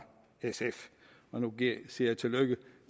sf nu siger jeg tillykke